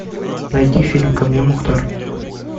найди фильм ко мне мухтар